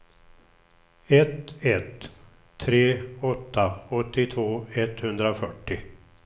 ett ett tre åtta åttiotvå etthundrafyrtio